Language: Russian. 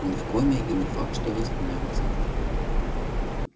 он в коме и не факт что восстановится